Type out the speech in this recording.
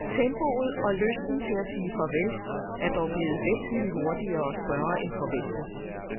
Tempoet og lysten til at sige farvel er dog blevet væsentlig hurtigere og større end forventet.